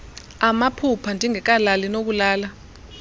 amaphupha ndingekalali nokulala